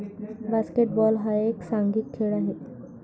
basketball हा एक सांघिक खेळ आहे